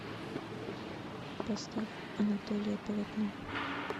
поставь анатолия полотно